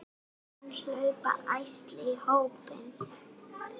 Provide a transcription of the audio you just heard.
Síðan hlaupa ærsli í hópinn.